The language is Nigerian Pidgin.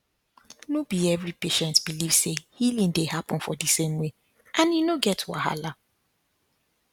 no be every every patient believe say healing dey happen for di same way and e no get wahala